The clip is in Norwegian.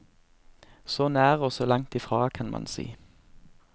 Så nær og så langt i fra, kan man si.